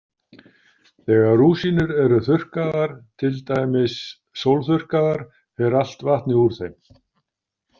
Þegar rúsínur eru þurrkaðar, til dæmis sólþurrkaðar, fer allt vatnið úr þeim.